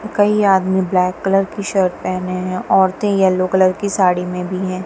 कई आदमी black colour की शर्ट पहने हैं। औरतें येलो कलर की साड़ी में भी है।